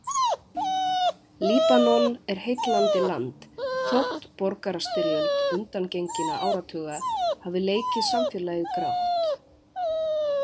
Líbanon er heillandi land, þótt borgarastyrjöld undangenginna áratuga hafi leikið samfélagið grátt.